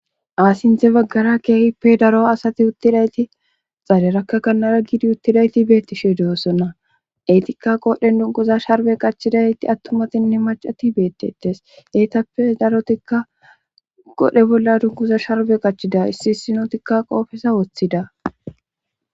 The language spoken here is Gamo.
Asinthe baggara keehippe daro asati uttidayti xalerakka kannara giidi uttidayti beettishe doosonna etikka qodhen dunkuza sharbe qachidayti attumatinne macati beettetes eetappe darotikka qodhe bolla dunkuza sharbe qachida issi issinotikka qoofesa woththida